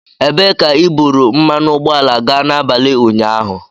Ebee ka i buru mmanụ ụgbọala gaa n'abalị ụnyaahụ?